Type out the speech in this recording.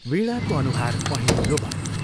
वीणाको अनुहार पहेंलो भयो।